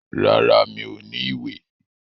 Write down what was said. Rárá, mi ò ní ìwé.